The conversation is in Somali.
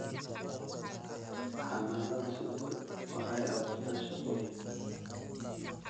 Xannaanada shinnidu waxay abuurtaa shaqooyin.